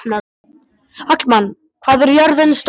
Hallmann, hvað er jörðin stór?